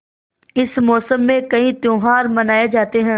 इस मौसम में कई त्यौहार मनाये जाते हैं